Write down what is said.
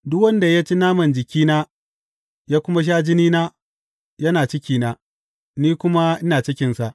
Duk wanda ya ci naman jikina ya kuma sha jinina, yana cikina, ni kuma ina cikinsa.